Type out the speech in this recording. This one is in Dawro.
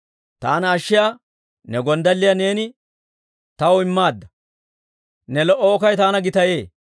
«Taana ashshiyaa ne gonddalliyaa neeni taw immaadda; Ne lo"o okkay taana gitayee.